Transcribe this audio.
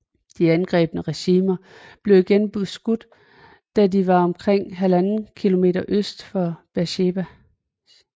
De angribende regimenter blev igen beskudt da de var omkring 1½ km øst for Beersheba